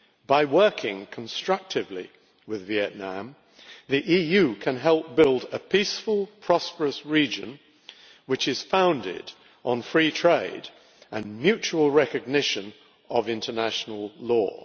By working constructively with Vietnam, the EU can help build a peaceful, prosperous region which is founded on free trade and mutual recognition of international law.